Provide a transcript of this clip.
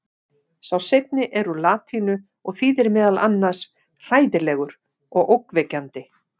sá seinni er úr latínu og þýðir meðal annars „hræðilegur“ og „ógnvekjandi“